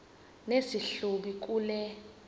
nesi hlubi kule